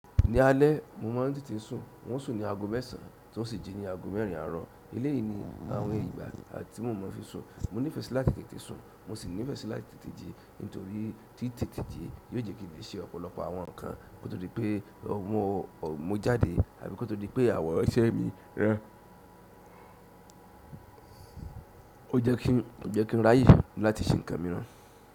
Ní alẹ́ mo máa ń tètè sùn ń ó sùn ní aago mẹ́sàn tí n o sì jí ní aago mẹ́rin àárọ̀. Eléyìí ni àwọn ìgbà tí mo fi sùn. Mo ní fẹ́ si láti tètè sùn, mo sì nífẹ́ sí láti tètè jí, nítorí tí tètè jí yó jẹ́ kí n lè ṣe ọ̀pọ̀lọpọ̀ àwọn ǹkan kò tó di pé mo jáde àbí ko tó di pé àwọn iṣẹ́ mi ra. Ó jẹ́ kí ń ráyè láti ṣe ǹkan mi rán.